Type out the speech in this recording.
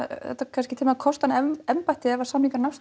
kosta hann embættið ef samningar nást